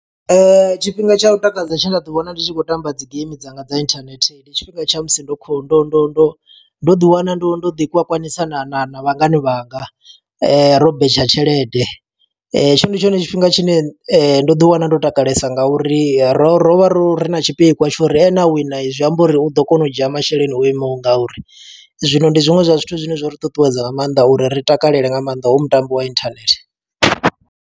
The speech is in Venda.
Tshifhinga tsha u takadza tshe nda ḓi wana, ndi tshi khou tamba dzi geimi dzanga dza inthanethe. Ndi tshifhinga tsha musi ndo kho ndo ndo ndo ndo ḓi wana ndo ndo ḓi kwakwanisa na na na vhangani vhanga. Ro betsha tshelede. Tshone ndi tshone tshifhinga tshine ndo ḓi wana ndo takalesa nga uri ro ro vha ro ri na tshipikwa tsho uri ane a wina zwi amba uri u ḓo kona u dzhia masheleni o imaho nga uri. Zwino ndi zwiṅwe zwa zwithu zwine zwo ri ṱuṱuwedza nga maanḓa uri ri takalela nga maanḓa, hoyu mutambo wa internet.